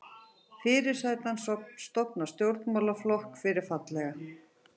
Fyrirsæta stofnar stjórnmálaflokk fyrir fallega